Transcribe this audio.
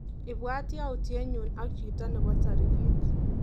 Ibwat yautyenyu ak chito nebo tarikit.